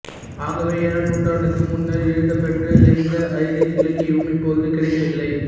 ஆகவே ஏழாம் நூற்றாண்டுக்கு முன்னர் எழுதப் பெற்ற எந்த ஐரிஷ் இலக்கியமும் இப்பொழுது கிடைக்கவில்லை